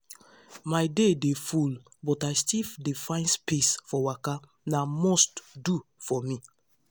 my day dey full but i still dey find space for waka na must do for me.